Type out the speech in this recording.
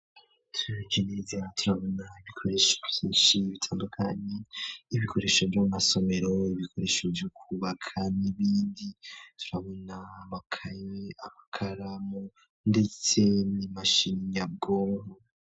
Turevye neze turabona ibikoresho vyinshi bitandukanye ibikoresho vy'amasomero ibikoresho vyo kubaka n'ibindi turabona amakaye, amakaramu ndetse n'imashini nyabwonko.